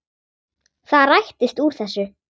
Það rættist úr þessu.